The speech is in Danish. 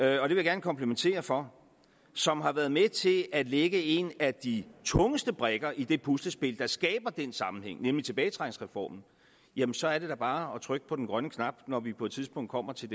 jeg gerne kvittere for som har været med til at lægge en af de tungeste brikker i det puslespil der skaber den sammenhæng nemlig tilbagetrækningsreformen jamen så er det da bare at trykke på den grønne knap når vi på et tidspunkt kommer til